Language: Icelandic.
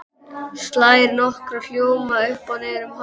Slær nokkra hljóma upp og niður hálsinn.